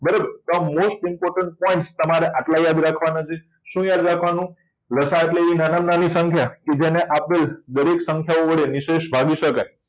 બરાબર most important point તમારે આટલા યાદ રાખવાના શું યાદ રાખવાનું છે એટલે નાનામાં નાની સંખ્યા જેને આપેલ દરેક સંખ્યા વડે નિશેષ ભાગી શકાય